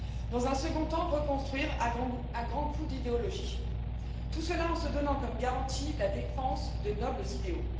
dans un second temps, reconstruire à grands coups d'idéologie, tout cela en se donnant comme garantie la défense de nobles idéaux.